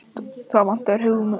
Það vantar ekki hugmyndaflugið!